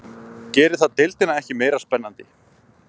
Gerir það deildina ekki meira spennandi?